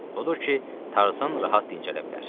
Odur ki, Tarzan rahat dincələ bilər.